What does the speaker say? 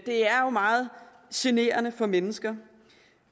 er jo meget generende for mennesker